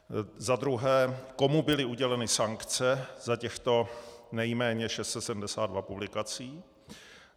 Za druhé, komu byly uděleny sankce za těchto nejméně 672 publikací.